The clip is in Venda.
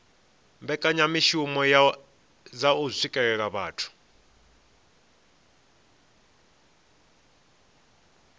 mbekanyamishumo dza u swikelela vhathu